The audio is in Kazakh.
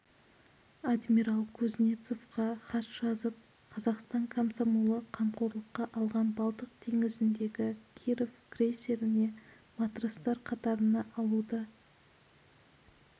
адмирал кузнецовқа хат жазып қазақстан комсомолы қамқорлыққа алған балтық теңізіндегі киров крейсеріне матростар қатарына алуды